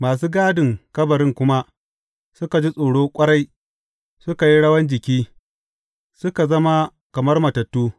Masu gadin kabarin kuma suka ji tsoro ƙwarai, suka yi rawan jiki, suka zama kamar matattu.